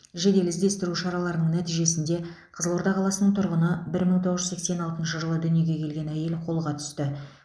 жедел іздестіру шараларының нәтижесінде қызылорда қаласының тұрғыны бір мың тоғыз жүз сексен алтыншы жылы дүниеге келген әйел қолға түсті